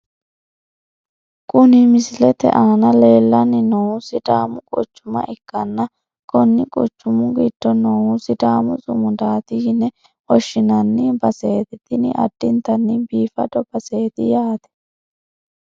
Kuni misilete aana leellanni noohu sidaamu quchuma ikanna konni quchumu giddo noohu sidaamu sumudaati yine woshshinanni baseeti tini addintanni biifado baseeti yate.